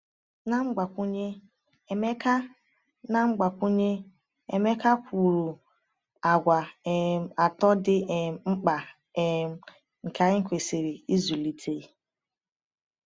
Na mgbakwunye, Emeka Na mgbakwunye, Emeka kwuru àgwà um atọ dị um mkpa um nke anyị kwesịrị ịzụlite.